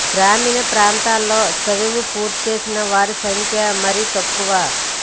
గ్రామీణ ప్రాంతాల్లో చదువు పూర్తి చేసిన వారి సంఖ్య మరీ తక్కువ